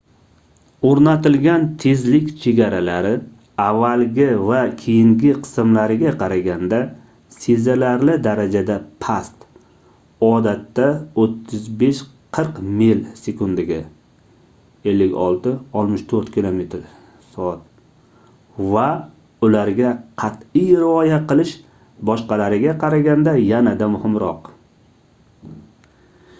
o'rnatilgan tezlik chegaralari avvalgi va keyingi qismlariga qaraganda sezilarli darajada past — odatda 35–40 mil/s 56–64 km/s — va ularga qat'iy rioya qilish boshqalariga qaraganda yanada muhimroq